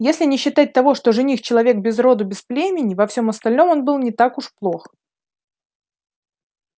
если не считать того что жених-человек без роду без племени во всём остальном он был не так уж плох